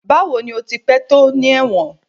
Bawo ni o ti pẹ to ni ẹwọn?